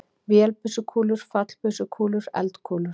Vélbyssukúlur, fallbyssukúlur, eldkúlur.